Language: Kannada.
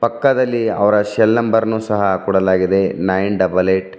ಪಕ್ಕದಲಿ ಅವರ ಸೆಲ್ ನಂಬರ್ ಅನ್ನು ಸಹ ಕೊಡಲಾಗಿದೆ ನೈನ್ ಡಬಲ್ ಎಟ್ --